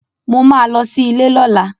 Mo ma lọ sí ilé lọla.